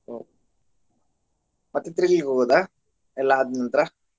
ಓ ಮತ್ತೆ ಹೋಗೋದಾ ಎಲ್ಲ ಆದ್ನಂತ್ರ?